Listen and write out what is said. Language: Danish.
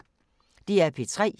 DR P3